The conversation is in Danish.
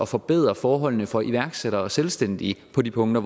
forbedre forholdene for iværksættere og selvstændige på de punkter